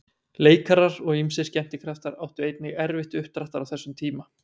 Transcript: Leikarar og ýmsir skemmtikraftar áttu einnig erfitt uppdráttar á þessum tíma.